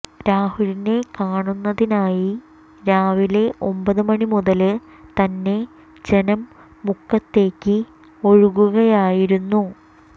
രാഹുലിനെ കാണുന്നതിനായി രാവിലെ ഒമ്പത് മണി മുതല് തന്നെ ജനം മുക്കത്തേക്ക് ഒഴുകുകയായിരുന്നു